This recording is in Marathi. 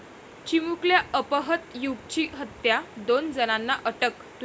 चिमुकल्या अपहृत युगची हत्या, दोन जणांना अटक